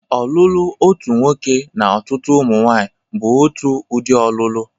Ọlụlụ otu nwoke na ọtụtụ ụmụnwanyị bụ otu udị ọlụlụ.